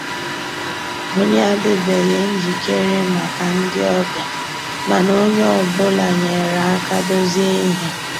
Ànyị́ àdị́beghị́ njìkéré màkà ndị́ ọ̀bịá, mànà ónyé ọ́ bụ́là nyéré àká dòzié íhé.